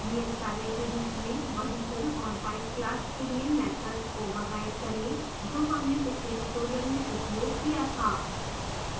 नियतकार्य के रूप में vehicle और bike class के लिए मैथड्स ओवरराइड करें जो हमने पिछले ट्यूटोरियल में उपयोग किया था